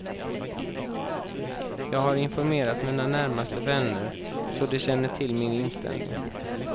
Jag har informerat mina närmaste vänner, så de känner till min inställning.